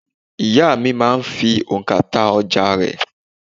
Ìyá à mi máa ń fi ònkà ta ọjà rẹ̀